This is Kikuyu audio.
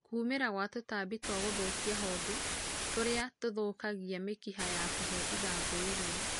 kũũmĩra gwa tũtambĩ twa gũthũkĩa honge tũrĩa tũthũkagĩa mĩkĩha ya kũhe ĩthangũ ĩrĩo